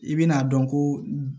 I bɛna dɔn ko